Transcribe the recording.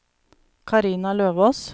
Carina Løvås